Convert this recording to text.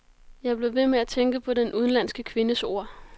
Jeg blev ved med at tænke på den udenlandske kvindes ord.